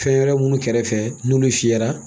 Fɛn wɛrɛ minnu kɛrɛfɛ n'olu fiyɛra